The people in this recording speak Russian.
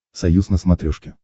союз на смотрешке